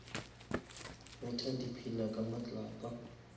betha di pillar ka matlapa